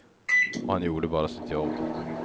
Och han gjorde bara sitt jobb.